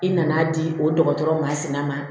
I nana di o dɔgɔtɔrɔ ma sina ma